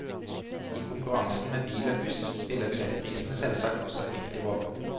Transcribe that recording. I konkurransen med bil og buss spiller billettprisene selvsagt også en viktig rolle.